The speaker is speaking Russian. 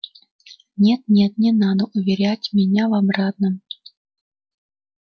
нет нет не надо уверять меня в обратном